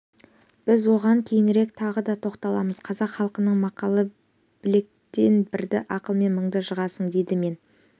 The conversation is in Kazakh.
біз оған кейінірек тағы да тоқталамыз қазақ халқының мақалы білекпен бірді ақылмен мыңды жығасың дейді мен